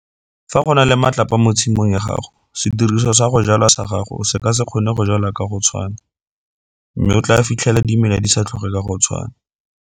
Fa go na le matlapa mo tshimong ya gago sediriswa sa go jwala sa gago se ka se kgone go jwala ka go tshwana mme o tlaa fitlhela dimela di sa tlhoge ka go tshwana.